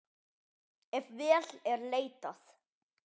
Ef vel er leitað.